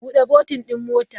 Bude botin mota!